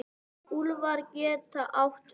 Úlfar getur átt við